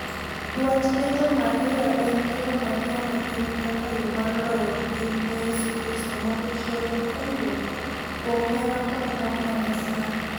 Dwach Legion Maria en kelo Mariam e piny kaka yo mar loyo piny ne Yesu Kristo mondo ji oyud konyruok kuom hera kod ng'wono mar Nyasaye.